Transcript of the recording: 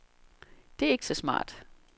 Det er ikke så smart.